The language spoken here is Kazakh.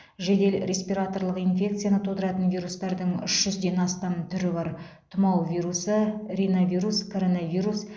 жедел респираторлық инфекцияны тудыратын вирустардың үш жүзден астам түрі бар тұмау вирусы риновирус коронавирус